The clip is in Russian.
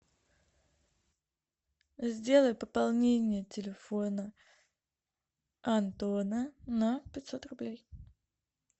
сделай пополнение телефона антона на пятьсот рублей